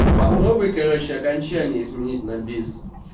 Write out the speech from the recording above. попробуй короче окончание изменить на бис